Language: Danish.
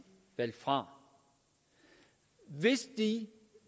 valgt fra hvis de